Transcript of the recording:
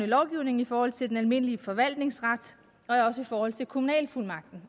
lovgivningen i forhold til den almindelige forvaltningsret og også i forhold til kommunalfuldmagten